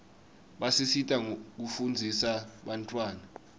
basisita kufundzisa bantfwana